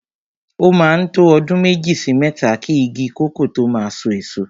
O máa ń tó ọdún méjì sí mẹ́ta ki igi kòkó tó máa so èso.